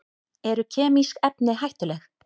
Eru kemísk efni hættuleg?